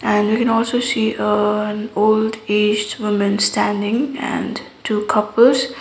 and we can also see an old aged woman standing and two couples.